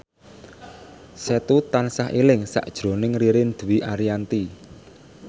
Setu tansah eling sakjroning Ririn Dwi Ariyanti